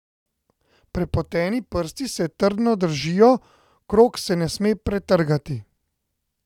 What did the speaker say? Prepoteni prsti se trdno držijo, krog se ne sme pretrgati.